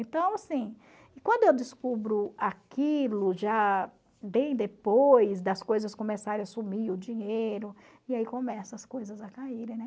Então, assim, quando eu descubro aquilo já bem depois das coisas começarem a sumir, o dinheiro, e aí começam as coisas a caírem, né?